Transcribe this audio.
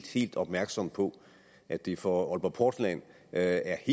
helt opmærksom på at det for aalborg portland er